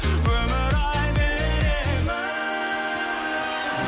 өмір ай бер емін